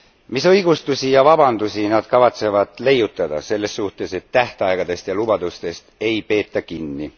Mis õigustusi ja vabandusi nad kavatsevad leiutada selle kohta, et tähtaegadest ja lubadustest ei peeta kinni?